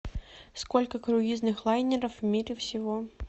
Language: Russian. сколько круизных лайнеров в мире всего